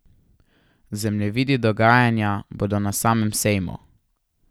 Zemljevidi dogajanja bodo na samem sejmu.